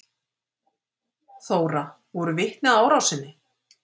Þóra: Voru vitni að árásinni?